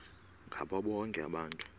ngabo bonke abantu